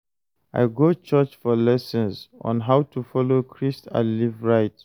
I go church for lessons on how to follow Christ and live right.